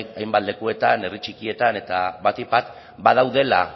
hainbat lekuetan eta herri txikietan eta batik bat badaudela